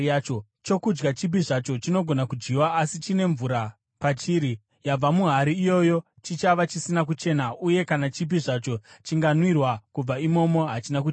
Chokudya chipi zvacho chinogona kudyiwa, asi chine mvura pachiri, yabva muhari iyoyo chichava chisina kuchena uye kana chipi zvacho chinganwiwa kubva imomo hachina kuchena.